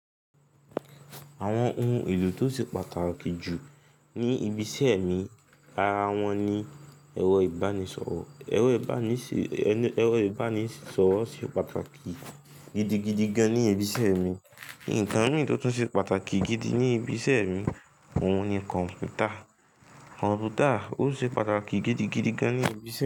Àwọn ohun èlò tó ṣe pàtàkì jù ní ibi iṣẹ́ mi ara wọn ni ẹ̀rọ ìbánisọ̀rọ̀. Ẹrọ ibani si ẹ̀rọ ìbánisọ̀rọ̀ ṣe pàtàkì gidigidi gan ní ibi iṣẹ́ mi. Nnkan mi tó tún ṣe pàtàkì gidi ní ibi iṣẹ́ mi òun ni kọ̀npútà. Kọ̀npútà ò sì pàtàkì gidigidi gan ní ibi iṣẹ́ mi.